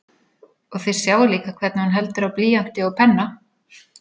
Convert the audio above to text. Og þið sjáið líka hvernig hún heldur á blýanti og penna.